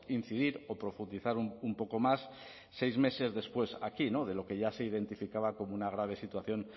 incidir o profundizar un poco más seis meses después aquí de lo que ya se identificaba como una grave situación